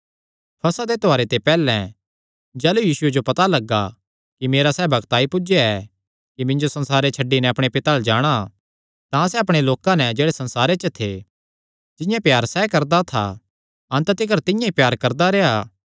फसह दे त्योहारे ते पैहल्लैं जाह़लू यीशुये जो पता लग्गा कि मेरा सैह़ बग्त आई पुज्जया ऐ कि मिन्जो संसारे छड्डी नैं अपणे पिता अल्ल जाणा तां सैह़ अपणेयां लोकां नैं जेह्ड़े संसारे च थे जिंआं प्यार सैह़ करदा था अन्त तिकर तिंआं ई प्यार करदा रेह्आ